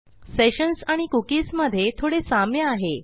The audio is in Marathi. सेशन्स आणि कुकीज मधे थोडे साम्य आहे